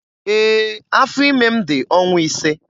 Ee, afọ ime m dị ọnwa ise.